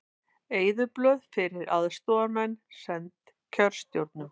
Eyðublöð fyrir aðstoðarmenn send kjörstjórnum